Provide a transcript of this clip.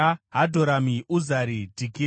Hadhoramu, Uzari, Dhikira,